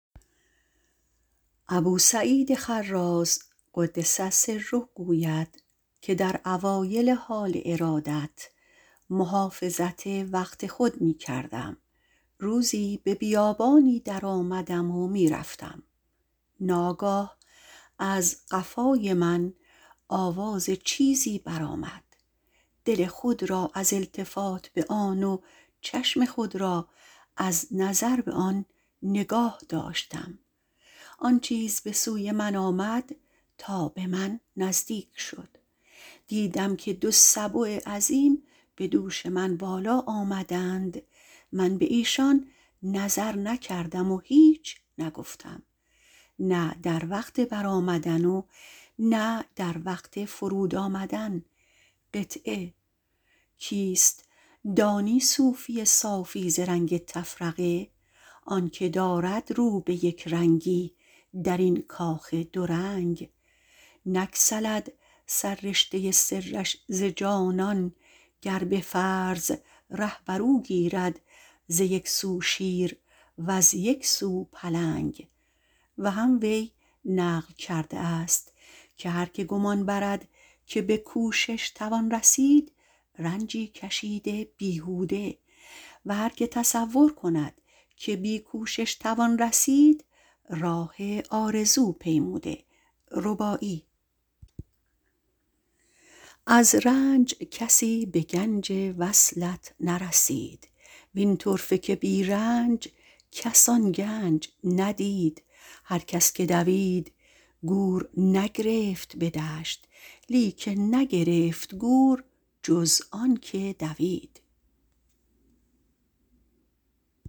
ابوسعید خراز - قدس الله سره - گوید که در اوایل حال ارادت محافظت سر وقت خود می کردم روزی به بیابانی درآمدم و می رفتم از قفای من آواز چیزی برآمد دل خود از التفات به آن و چشم خود را از نظر به آن نگاه داشتم به سوی من آمد تا به من نزدیک شد دیدم که دو سبع عظیم به دوش من بالا آمدند من به ایشان نظر نکردم نه در وقت برآمدن و نه در وقت فرود آمدن کیست دانی صوفی صافی ز رنگ تفرقه آن که دارد رو به یکرنگی درین کاخ دو رنگ نگسلد سر رشته سرش ز جانان گر بفرض ره بر او گیرد ز یک سو شیر و دیگر سو پلنگ و هم وی گفته - قدس سره - هر که گمان برده به کوشش توان رسید رنجی کشیده بیهوده و هرکه تصور کرده که بی کوشش توان رسید جز راه آرزو نپیموده از رنج کسی به گنج وصلت نرسید وین طرفه که بی رنج کس آن گنج ندید هرکس که دوید گور نگرفت به دشت لیکن نگرفت گور جز آن کس که دوید